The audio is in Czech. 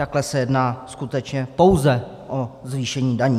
Takhle se jedná skutečně pouze o zvýšení daní.